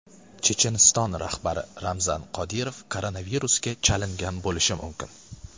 Checheniston rahbari Ramzan Qodirov koronavirusga chalingan bo‘lishi mumkin.